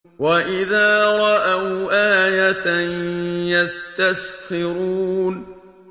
وَإِذَا رَأَوْا آيَةً يَسْتَسْخِرُونَ